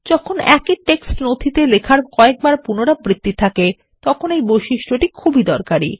যখনএকই text নথিতে লেখার কয়েকবার পুনরাবৃত্তিথাকে তখন এই বৈশিষ্ট্যটি খুবই দরকারী